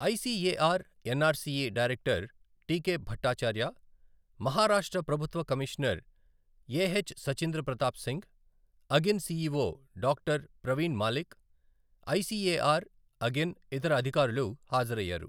ICAR NRCE director TK Bhattacharya, Maharashtra ప్రభుత్వ commissioner AH Sachindra Pratap Singh, అగిన్ CEO doctor Praveen Malik, ICAR, అగిన్ ఇతర అధికారులు హాజరయ్యారు.